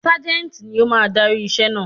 Ságẹ́ńtì ni ó máa darí iṣẹ́ naa.